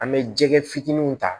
An bɛ jɛgɛ fitininw ta